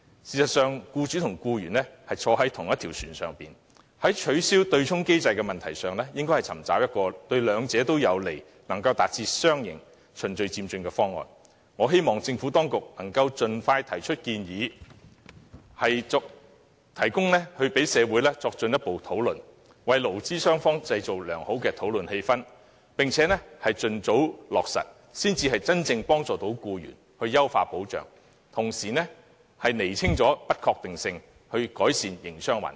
事實上，僱主和僱員同坐一條船，在取消對沖機制的問題上，應該尋求一個對兩者有利，能達致雙贏的循序漸進方案，我希望政府當局能夠盡快提出建議，供社會作進一步討論，為勞資雙方製造良好的討論氣氛，並且盡早落實，才能真正幫助僱員、優化保障，同時釐清不確定因素，改善營商環境。